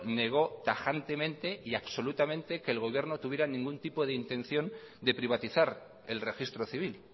negó tajantemente y absolutamente que el gobierno tuviera ningún tipo de intención de privatizar el registro civil